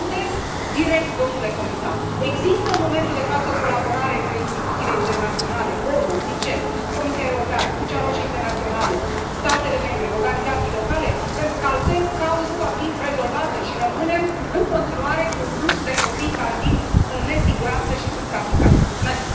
Și vă întreb direct, domnule comisar, există în momentul de față o colaborare între instituțiile internaționale ONU, UNICEF, Comisia Europeană, Crucea Roșie Internațională, statele membre, organizații locale, pentru că altfel cauza nu va fi rezolvată și rămânem în continuare cu un flux de copii care vin în nesiguranță și sunt traficați. Mulțumesc.